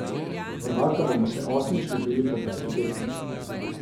Prvaka bomo še osmič dobili po peti tekmi.